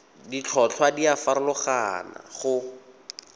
ditlhotlhwa di a farologana go